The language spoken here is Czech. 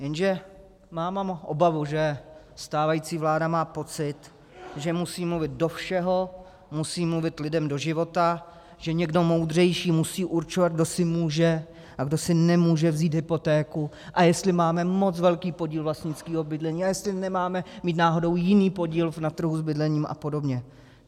Jenže mám obavu, že stávající vláda má pocit, že musí mluvit do všeho, musí mluvit lidem do života, že někdo moudřejší musí určovat, kdo si může a kdo si nemůže vzít hypotéku a jestli máme moc velký podíl vlastnického bydlení a jestli nemáme mít náhodou jiný podíl na trhu s bydlením a podobně.